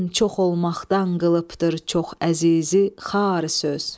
kim çox olmaqdan qılıbdır çox əzizi xar söz.